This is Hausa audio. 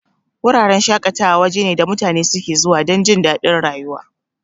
Wuraren shaƙatawa waje ne da mutane suke zuwa dan jindadin rayuwa.